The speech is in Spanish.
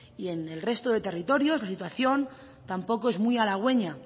y en el resto de territorios la situación tampoco es muy aragüeña